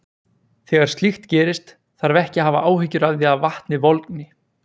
Þegar slíkt gerist þarf ekki að hafa áhyggjur af því að vatnið volgni.